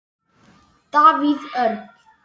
Davíð Örn.